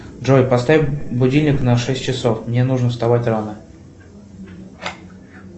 джой поставь будильник на шесть часов мне нужно вставать рано